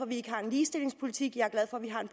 vi ikke har en ligestillingspolitik jeg